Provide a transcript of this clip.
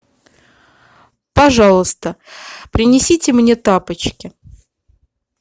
пожалуйста принесите мне тапочки